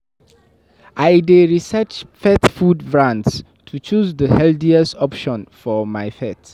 I dey research pet food brands to choose the healthiest options for my pet.